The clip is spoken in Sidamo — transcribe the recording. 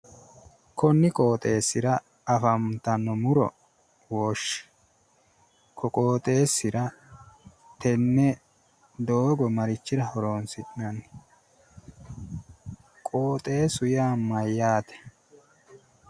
Konni qooxeessira afantanno muro woshshi. ko qooxeessira tenne doogo marichira horoonsi'nanni? qooxeessu yaa mayyaate?